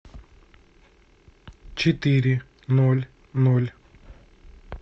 четыре ноль ноль